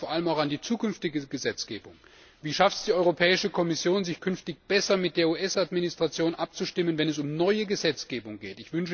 Ich denke da vor allem auch an die zukünftige Gesetzgebung Wie schafft es die Europäische Kommission, sich künftig besser mit der US Administration abzustimmen, wenn es um neue Gesetzgebung geht?